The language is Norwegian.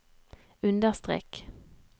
understrek